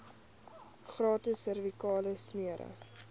gratis servikale smere